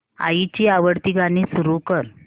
आईची आवडती गाणी सुरू कर